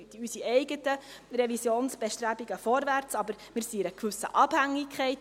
wir machen unsere eigenen Revisionsbestrebungen, aber wir sind in einer gewissen Abhängigkeit.